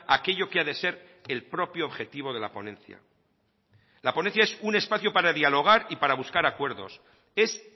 aquello que a de ser el propio objetivo de la ponencia la ponencia es un espacio para dialogar y para buscar acuerdos es